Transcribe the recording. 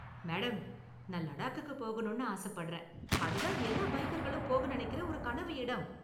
Madam, நான் லடாக்குக்கு போகணும்னு ஆசப்படறேன், அது தான் எல்லா பைக்கர்களும் போக நினைக்குற ஒரு கனவு இடம் .